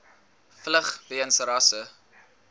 vlug weens rasse